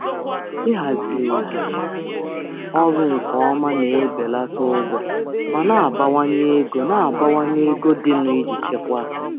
zi ojiji ọrụ nke ọma na-ebelata ụgwọ ma na-abawanye ma na-abawanye ego dịnụ iji chekwaa.